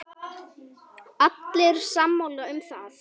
Allir sammála um það.